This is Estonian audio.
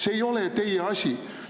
See ei ole teie asi!